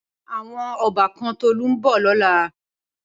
Awòn òbàkàn Tolu n bò lòlá